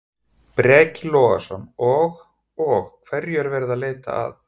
Breki Logason: Og, og hverju er verið að leita að?